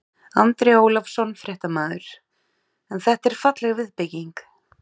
Andri Ólafsson, fréttamaður: En þetta er falleg viðbygging?